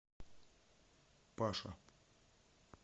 паша